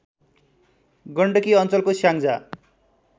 गण्डकी अञ्चलको स्याङ्जा